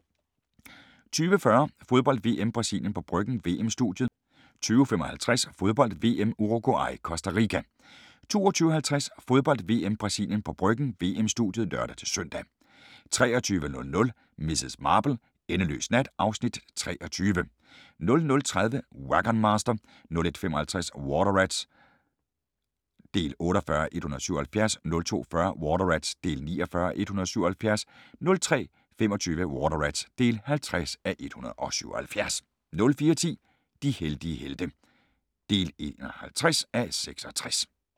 20:40: Fodbold: VM - Brasilien på Bryggen – VM-studiet 20:55: Fodbold: VM - Uruguay-Costa Rica 22:50: Fodbold: VM - Brasilien på Bryggen – VM-studiet (lør-søn) 23:00: Miss Marple: Endeløs nat (Afs. 23) 00:30: Wagon Master 01:55: Water Rats (48:177) 02:40: Water Rats (49:177) 03:25: Water Rats (50:177) 04:10: De heldige helte (51:66)